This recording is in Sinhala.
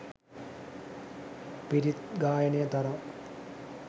පිරිත් ගායනය තරම්